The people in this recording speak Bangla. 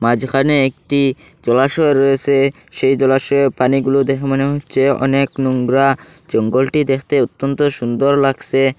মাঝখানে একটি জলাশয় রয়েসে সেই জলাশয়ের পানিগুলো দেখে মনে হচ্ছে অনেক নুংরা জঙ্গলটি দেখতে অত্যন্ত সুন্দর লাগসে।